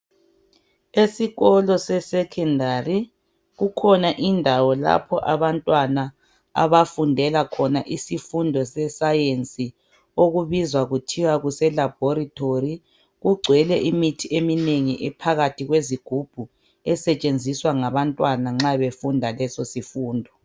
Esikolo sesecondary kukhona indawo lapho abantwana abafundela khona isifundo seScience okubizwa kuthiwa kuseLaboratory kugcwele imithi eminengi ephakathi kwezigubhu esetshenziswa ngabantwana nxa befunda leso sifundo.